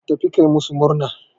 Tafi ka yi masu murna.